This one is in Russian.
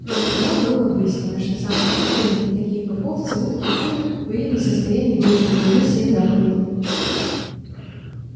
кроме того было выяснено что самые глупые из них такие как овцы утки куры были не в состоянии выучить наизусть семь заповедей